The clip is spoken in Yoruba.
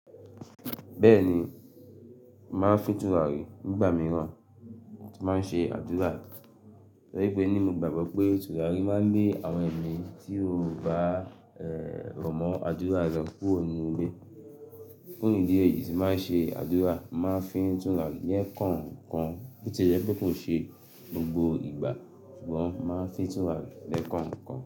Bẹ́ẹ̀ni, màá n fí tùràrí nígbà mìíràn tí màá n ṣé àdúrà. Tọrí pé ní mò gbàgbọ́ pé tùràrí máa n lé àwọn ẹ̀mí tí ó bá e- rọ̀mọ́ àdúrà rẹ̀ kúrò nínú ilé. Fún ìdí èyí tí màá n ṣé àdúrà, màá n fín tùràrí lẹ́kànkan bóti le pé kò ṣe gbogbo ìgbà sugbọ̀n mo màá n fín tùràrí lẹ́kànkan.